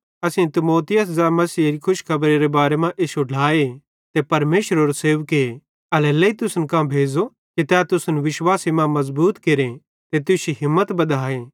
ते असेईं तीमुथियुस ज़ै मसीहेरे खुशखबरी मां इश्शो ढ्लाए ते परमेशरेरो सेवके एल्हेरेलेइ तुसन कां भेज़ो कि तै तुसन विश्वासे मां मज़बूत केरे ते तुश्शी हिम्मत बधाए